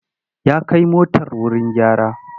Ya kai motar wuri gyara.